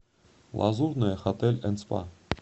лазурная хотель энд спа